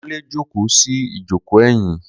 Kunle jókòó sí ìjókòó ẹ̀yìn.